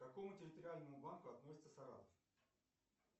к какому территориальному банку относится саратов